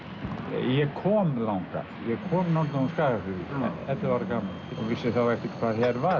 ég kom þangað ég kom norðan úr Skagafirði ellefu ára gamall og vissi þá ekkert hvað her var